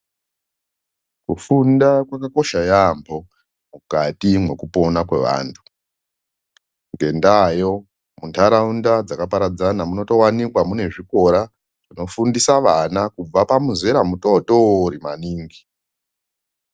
Kufunda kwakakosha yaambo mukati mwekupona kwevantu. Ngendaayo muntaraunda dzakaparadzana munotowanikwa mune zvikora zvinofundisa vana kubva pamuzera mutotori maningi.